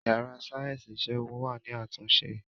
Yàrá sáyẹ́ǹsì ìṣègùn wà ní àtúnṣe